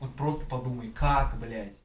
вот просто подумай как блядь